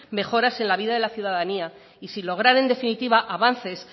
mejoras en la vida de la ciudadanía y sin lograr en definitiva avances